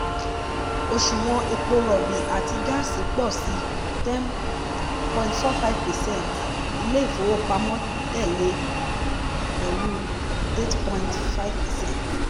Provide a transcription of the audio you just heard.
òṣùwọ̀n epo rọ̀bì àti gáàsì pọ̀ sí ten point four five percent ilé ìfowópamọ́ tẹ̀lé pẹ̀lú eight point five percent.